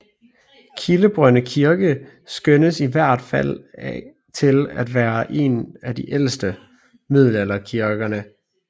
Kildebrønde Kirke skønnes i hvert fald til at være den ældste af middelalderkirkerne i Greve Kommune